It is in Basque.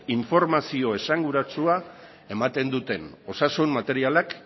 informazio esanguratsua ematen duten osasun materialak